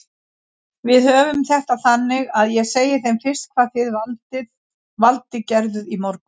Við höfum þetta þannig að ég segi þeim fyrst hvað þið Valdi gerðuð í morgun.